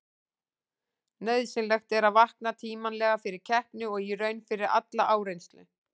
Nauðsynlegt er að vakna tímanlega fyrir keppni og í raun fyrir alla áreynslu.